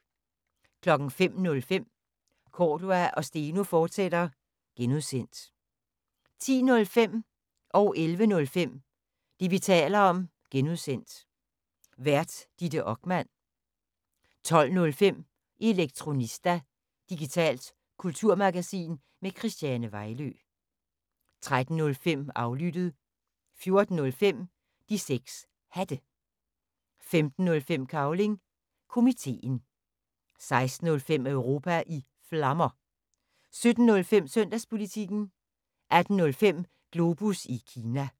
05:05: Cordua & Steno, fortsat (G) 10:05: Det, vi taler om (G) Vært: Ditte Okman 11:05: Det, vi taler om (G) Vært: Ditte Okman 12:05: Elektronista – digitalt kulturmagasin med Christiane Vejlø 13:05: Aflyttet 14:05: De 6 Hatte 15:05: Cavling Komiteen 16:05: Europa i Flammer 17:05: Søndagspolitikken 18:05: Globus Kina